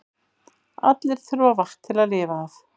Allir þurfa vatn til að lifa af.